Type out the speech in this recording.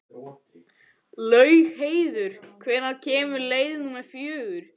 Laugheiður, hvenær kemur leið númer fjögur?